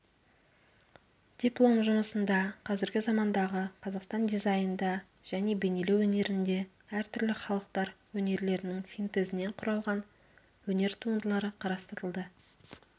диплом жұмысында қазіргі замандағы қазақстан дизайнда және бейнелеу өнерінде әртүрлі халықтар өнерлерінің синтезінен құралған өнер туындылары қарастырылды